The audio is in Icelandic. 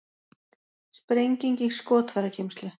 Sprenging í skotfærageymslu